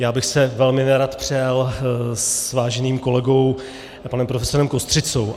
Já bych se velmi nerad přel s váženým kolegou panem profesorem Kostřicou.